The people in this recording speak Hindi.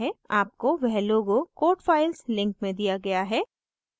आपको वह logo code files link में दिया गया है